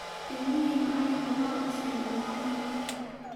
Ilmihi macalinka waa basen dhamantod.